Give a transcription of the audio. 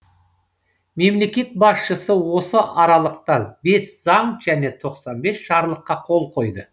мемлекет басшысы осы аралықта бес заң және тоқсан бес жарлыққа қол қойды